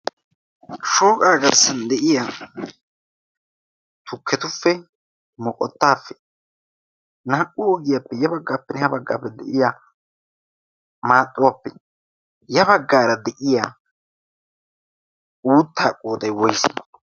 shooqaa garssan de7iya tukketuppe moqottaappe naa77u oogiyaappe ya baggaappe ne ha baggaappe de7iya maaxuwaappe ya baggaara de7iya uuttaa qoodai woise?